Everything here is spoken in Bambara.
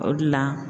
O de la